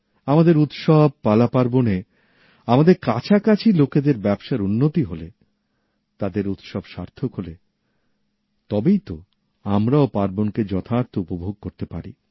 আমাদের উৎসব পালা পার্বণে আমাদের কাছাকাছি লোকেদের ব্যবসার উন্নতি হলে তাদের উৎসব সার্থক হলে তবেই ত আমরাও উৎসবকে যথার্থ উপভোগ করতে পারি